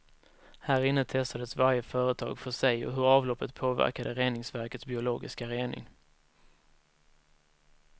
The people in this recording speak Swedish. Härinne testades varje företag för sig och hur avloppet påverkade reningsverkets biologiska rening.